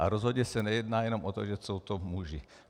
A rozhodně se nejedná jenom o to, že jsou to muži.